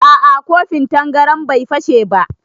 A'a kofin tangaran bai fashe ba